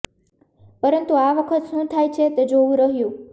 પરંતુ આ વખત શું થાય છે તે જોવું રહ્યું